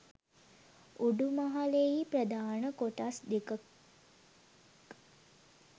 උඩුමහලෙහි ප්‍රධාන කොටස් දෙකක්